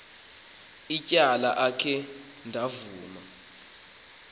ityala akhe ndavuma